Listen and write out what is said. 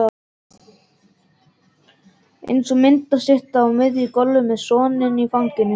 Eins og myndastytta á miðju gólfi með soninn í fanginu.